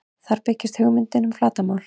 Þar birtist hugmyndin um flatarmál.